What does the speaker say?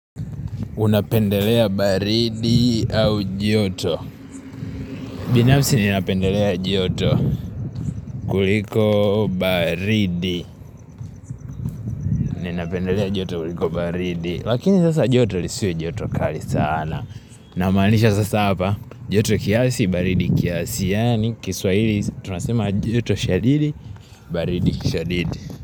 Unapendelea baridi au joto binafsi ninapendelea joto kuliko baridi Ninapendelea joto kuliko baridi Lakini sasa joto lisiwe joto kali sana Namaanisha sasa hapa joto kiasi baridi kiasi Yaani kiswahili tunasema joto shadidi baridi shadidi.